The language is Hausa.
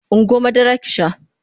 Ungo madara ki sha!